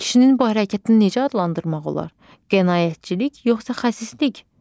Kişinin bu hərəkətini necə adlandırmaq olar: qənaətçilik, yoxsa xəsislik?